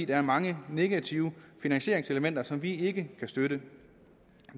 er mange negative finansieringselementer som vi ikke kan støtte